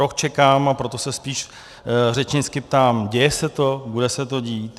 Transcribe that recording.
Rok čekám, a proto se spíš řečnicky ptám: děje se to, bude se to dít?